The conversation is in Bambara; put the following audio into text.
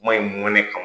Kuma in mɛn ka